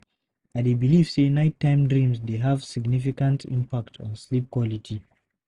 I dey believe say nighttime dreams dey have significant impact on sleep quality.